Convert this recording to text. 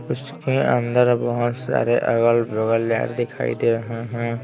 उसके अंदर बहुत सारे अगल-बगल लाइट दिखाई दे रहे हैं।